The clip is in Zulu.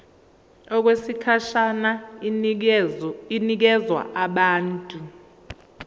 okwesikhashana inikezwa abantu